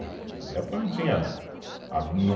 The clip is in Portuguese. Aquela época não, a